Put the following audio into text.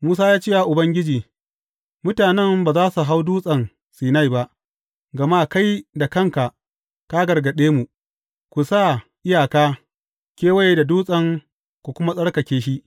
Musa ya ce wa Ubangiji, Mutanen ba za su hau Dutsen Sinai ba, gama kai da kanka ka gargaɗe mu, Ku sa iyaka kewaye da dutsen ku kuma tsarkake shi.’